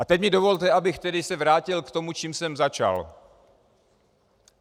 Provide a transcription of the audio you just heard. A teď mi dovolte, abych tedy se vrátil k tomu, čím jsem začal.